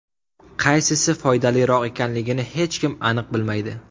Qaysisi foydaliroq ekanligini hech kim aniq bilmaydi.